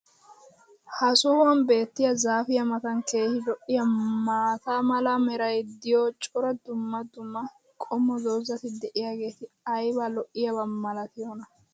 ha sohuwan beetiya zaafiya matan keehi lo'iyaa maata mala meray diyo cora dumma dumma qommo dozzati diyaageti ayba lo'iyaaba malatiyoonaa?